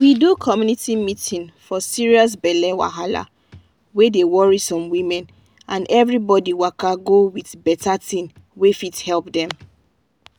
we do community meeting forserious belle wahala wey dey worry some women and everybody waka go with better thing wey fit help dem.